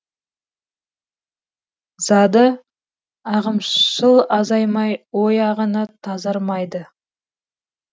зады ағымшыл азаймай ой ағыны тазармайды